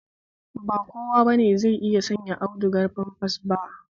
Ba kowa bane zai iya sayen audugar famfas ba